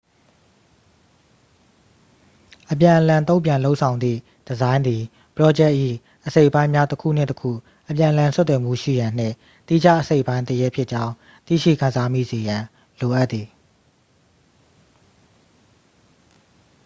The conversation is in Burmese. အပြန်အလှန် တု့န်ပြန်လုပ်ဆောင်သည့် ဒီဇိုင်းသည် ပရောဂျက်၏ အစိတ်အပိုင်းများ တစ်ခုနှင့် တစ်ခု အပြန်အလှန် ဆက်သွယ်မှုရှိရန်နှင့် သီးခြားအစိတ်အပိုင်းတစ်ရပ်ဖြစ်ကြောင်း သိရှိခံစားမိစေရန် လိုအပ်သည်